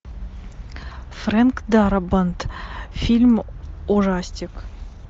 фрэнк дарабонт фильм ужастик